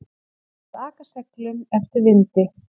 Að aka seglum eftir vindi